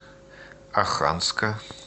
оханска